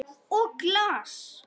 Og glas.